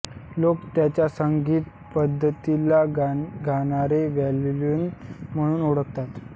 लोक त्यांच्या संगीत पद्धतीला गाणारे व्यायोलीन म्हणून ओळखतात